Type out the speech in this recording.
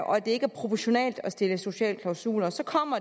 og at det ikke er proportionalt at stille sociale klausuler og så kommer